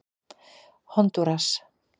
Hondúras